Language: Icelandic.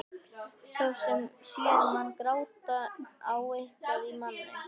Sá sem sér mann gráta á eitthvað í manni.